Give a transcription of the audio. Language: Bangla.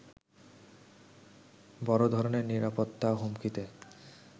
বড় ধরণের নিরাপত্তা হুমকিতে